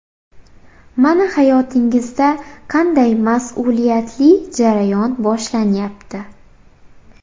Mana hayotingizda qanday mas’uliyatli jarayon boshlanyapti.